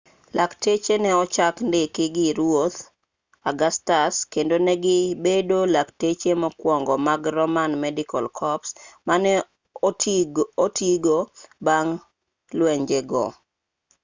lakteche ne ochak ndiki gi ruoth augustus kendo ne gi bedo lakteche mokwongo mag roman medical corps mane otigo bang' lwenje go